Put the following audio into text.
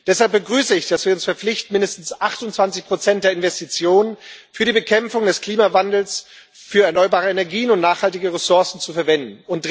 Deshalb begrüße ich, dass wir uns verpflichten, mindestens 28 der Investitionen für die Bekämpfung des Klimawandels, für erneuerbare Energien und nachhaltige Ressourcen zu verwenden.